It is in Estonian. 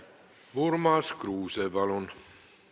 Urmas Kruuse, palun!